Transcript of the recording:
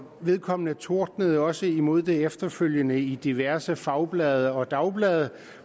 vedkommende tordnede også imod det efterfølgende i diverse fagblade og dagblade